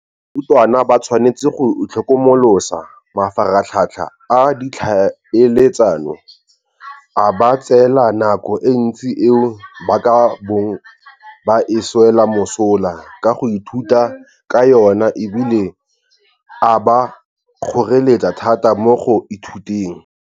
Barutwana ba tshwanetse go itlhokomolosa mafaratlhatlha a ditlhaeletsano, a ba tseela nako e ntsi eo ba ka bong ba e swela mosola ka go ithuta ka yona e bile a ba kgoreletsa thata mo go ithuteng.